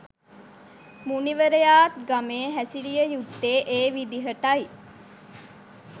මුනිවරයාත් ගමේ හැසිරිය යුත්තේ ඒ විදිහටයි.